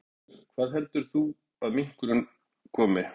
Magnús Hlynur: Hvaða heldur þú að minkurinn komi?